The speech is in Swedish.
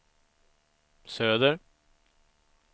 söder